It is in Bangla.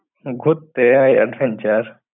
ঘুরতে আহ adventure